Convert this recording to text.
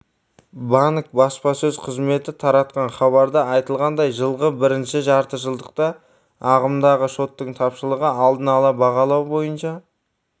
банк баспасөз қызметі таратқан хабарда айтылғандай жылғы бірінші жартыжылдықта ағымдағы шоттың тапшылығы алдын ала бағалау бойынша